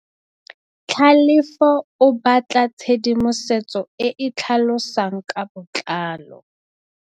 Tlhalefô o batla tshedimosetsô e e tlhalosang ka botlalô.